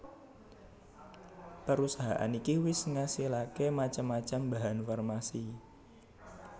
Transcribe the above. Perusahaan iki wis ngasilaké macam macam bahan farmasi